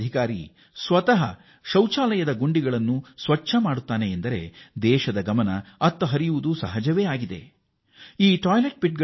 ಅಧಿಕಾರಿ ಸ್ವತಃ ಶೌಚಾಲಯದ ಗುಂಡಿಯನ್ನು ಶುಚಿಗೊಳಿಸುತ್ತಾರೆ ಎಂಬುದನ್ನು ಜನ ನೋಡಿದರೆ ಸಹಜವಾಗಿಯೇ ಈ ವಿಷಯವನ್ನು ದೇಶವೂ ಗಮನಿಸುತ್ತದೆ